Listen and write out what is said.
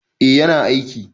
Eh yana aiki.